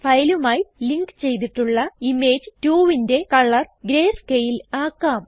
ഫയലുമായി link ചെയ്തിട്ടുള്ള image 2ന്റെ colour greyscale ആക്കാം